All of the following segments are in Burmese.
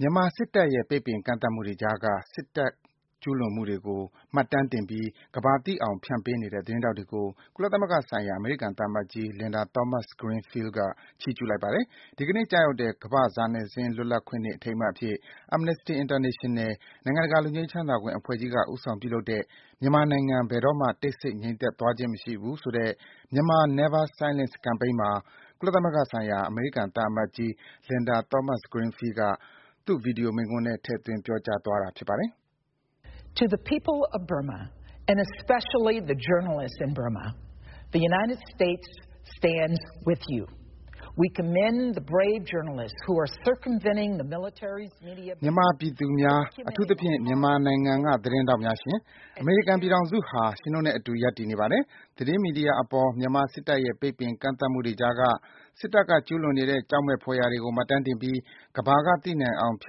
မြန်မာစစ်တပ်ရဲ့ ပိတ်ပင်ကန့်သတ်မှုတွေကြားက စစ်တပ်ကျူးလွန်မှုတွေကို မှတ်တမ်းတင်ပြီး ကမ္ဘာသိအောင်ဖြန့်ပေးနေတဲ့ သတင်းထောက်တွေကို ကုလသမဂ္ဂဆိုင်ရာ အမေရိကန်သံအမတ်ကြီး Linda Thomas-Greenfield က ချီးကျူးလိုက်ပါတယ်။ ဒီကနေ့ ကျရောက်တဲ့ ကမ္ဘာစာနယ်ဇင်းလွတ်လပ်ခွင့်နေ့ အထိမ်းအမှတ်အဖြစ် Amnesty International နိုင်ငံတကာ လွတ်ငြိမ်းချမ်းသာခွင့်အဖွဲ့ကြီးက ဦးဆောင်ပြုလုပ်တဲ့ မြန်မာနိုင်ငံ ဘယ်တော့မှာ တိတ်ဆိတ် ငြိမ်သက်သွားခြင်းမရှိဘူးဆိုတဲ့ “Myanmar Never Silence Campaign” မှာ ကုလသမဂ္ဂဆိုင်ရာ အမေရိကန်သံအမတ်ကြီး Linda Thomas-Greenfield က သူ့ ဗွီဒီယိုမိန့်ခွန်းထဲ ထည့်သွင်း ပြောသွားတာပါ။ “မြန်မာပြည်သူများ၊ အထူးသဖြင့် မြန်မာနိုင်ငံက သတင်းထောက်များရှင်၊ အမေရိကန်ပြည်ထောင်စုဟာ ရှင်တို့နဲ့အတူ ရပ်တည်နေပါတယ်။ သတင်းမီဒီယာအပေါ် မြန်မာစစ်တပ်ရဲ့ ပိတ်ပင်ကန့်သတ်မှုတွေကြားက စစ်တပ်က ကျူးလွန်နေတဲ့ ကြောက်မက်ဖွယ်ရာတွေကို မှတ်တမ်းတင်ပြီး ကမ္ဘာကသိနိုင်အောင် ဖြ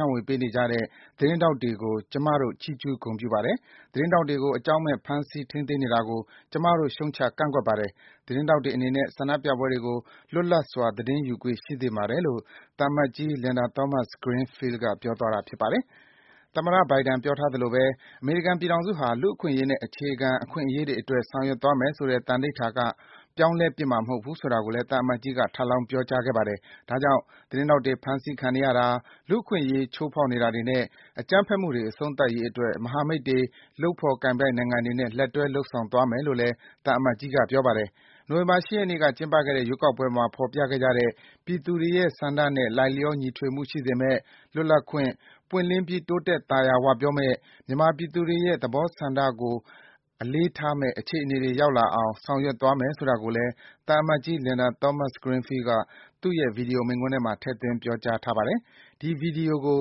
န့်ဝေပေးနေကြတဲ့ သတင်းထောက်တွေကို ကျမတို့ ချီးကျူးဂုဏ်ပြုပါတယ်။ သတင်းထောက်တွေကို အကြောင်းမဲ့ ဖမ်းဆီးထိန်းသိမ်းနေတာကို ကျမတို့ ရှုတ်ချကန့်ကွက်ပါတယ်။ သတင်းထောက်တွေအနေနဲ့ ဆန္ဒပြပွဲတွေကို လွတ်လပ်စွာ သတင်းယူခွင့် ရှိသင့်ပါတယ်” လို့ သံအမတ်ကြီး Linda Thomas-Greenfield က ပြောသွားတာပါ။ “သမ္မတ ဘိုင်ဒန် ပြောထားသလိုဘဲ အမေရိကန်ပြည်ထောင်စုဟာ လူ့အခွင့်အရေးနဲ့ အခြေခံအခွင့်အရေးတွေအတွက် ဆောင်ရွက်မယ်ဆိုတဲ့ သံဓိဌာန်က ပြောင်းလဲပစ်မှာမဟုတ်ဘူး”ဆိုတာကိုလည်း သံအမတ်ကြီးက ထပ်လောင်း ပြောကြားပါတယ်။ ဒါကြောင့် သတင်းထောက်တွေ ဖမ်းဆီးခံနေရတာ၊ လူ့အခွင့်အရေး ချိုးဖောက်နေတာတွေနဲ့ အကြမ်းဖက်မှုတွေ အဆုံးသတ်ရေးအတွက် မဟာမိတ်တွေ၊ လုပ်ဖော်ကိုင်ဘက်နိုင်ငံတွေနဲ့ လက်တွဲ လုပ်ဆောင်သွားမယ်လို့လည်း သံအမတ်ကြီးက ပြောပါတယ်။ နိုဝင်ဘာ ၈ ရက်နေ့က ကျင်းပခဲ့တဲ့ ရွေးကောက်ပွဲမှာ ဖော်ပြခဲ့ကြတဲ့ ပြည်သူတွေရဲ့ဆန္ဒနဲ့ လိုက်လျော ညီထွေမှုရှိစေမယ့် လွတ်လပ်၊ ပွင့်လင်းပြီး တိုးတက် သာယာဝပြောမယ့်၊ မြန်မာပြည်သူတွေရဲ့ ဆန္ဒသဘောထားကို လေးစားမယ့် အခြေအနေတွေ ရောက်လာအောင် ဆောင်ရွက်သွားမယ် ဆိုတာကိုလည်း သံအမတ်ကြီး Linda Thomas-Greenfield က သူ့ရဲ့ ဗွီဒီယို မိန့်ခွန်းထဲမှာ ထဲ့သွင်း ပြောကြားထားပါတယ်။ ဒီ ဗွီဒီယိုကို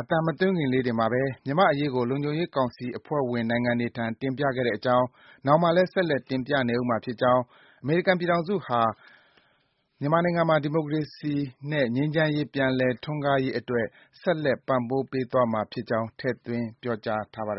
အသံမသွင်းခင်လေးတင်မှာဘဲ မြန်မာ့အရေးကို လုံခြုံရေးကောင်စီ အဖွဲ့ဝင်နိုင်ငံတွေထံ တင်ပြခဲ့ကြောင်း၊ နောင်မှာလည်း ဆက်လက် တင်ပြနေဦးမှာဖြစ်ကြောင်း၊ အမေရိကန်ပြည်ထောင်စုဟာ မြန်မာနိုင်ငံမှာ ဒီမိုကရေစီနဲ့ ငြိမ်းချမ်းရေး ပြန်လည် ထွန်းကားရေးအတွက် ဆက်လက် ပံ့ပိုးပေးသွားမှာဖြစ်ကြောင်း ထည့်သွင်း ပြောကြားထားပါတယ်